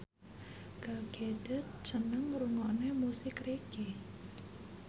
Gal Gadot seneng ngrungokne musik reggae